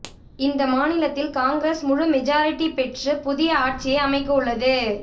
இந்த மாநிலத்தில் காங்கிரஸ் முழு மெஜாரிட்டி பெற்று புதிய ஆட்சியை அமைக்கவுள்ளது